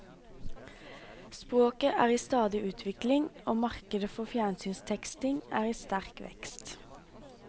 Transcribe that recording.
Språket er i stadig utvikling og markedet for fjernsynsteksting er i sterk vekst.